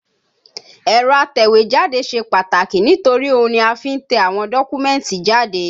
Ẹ̀rọ atẹ̀wẹ́jáde ṣe pàtàkì nítorí ohun ni a fi ń tẹ àwọn dọ́kúmẹ̀tì jáde